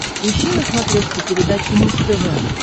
ищи на смотрешке передачу муз тв